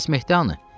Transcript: Bəs Mehdhanı?